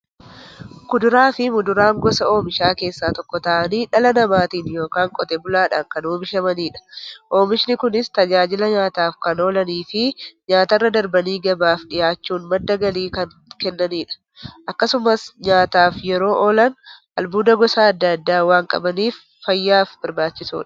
Kuduraafi muduraan gosa oomishaa keessaa tokko ta'anii, dhala namaatin yookiin Qotee bulaadhan kan oomishamaniidha. Oomishni Kunis, tajaajila nyaataf kan oolaniifi nyaatarra darbanii gabaaf dhiyaachuun madda galii kan kennaniidha. Akkasumas nyaataf yeroo oolan, albuuda gosa adda addaa waan qabaniif, fayyaaf barbaachisoodha.